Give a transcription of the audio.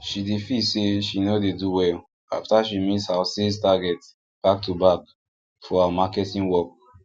she dey feel say she no dey do well after she miss her sales target backtoback for her marketing work